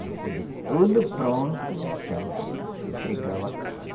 Depois de tudo pronto, então, entregava a casa.